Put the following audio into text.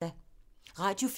Radio 4